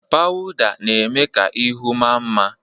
Pawụda na-eme ka ihu maa mma.